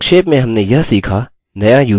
संक्षेप में हमने यह सीखा :